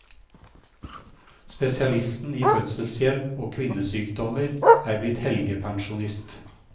Spesialisten i fødselshjelp og kvinnesykdommer er blitt helgepensjonist.